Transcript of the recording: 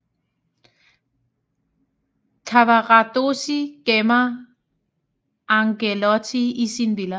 Cavaradossi gemmer Angelotti i sin villa